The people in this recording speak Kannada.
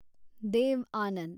ದೇವ್ ಆನಂದ್